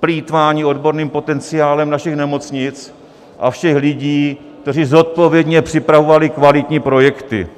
plýtvání odborným potenciálem našich nemocnic a všech lidí, kteří zodpovědně připravovali kvalitní projekty.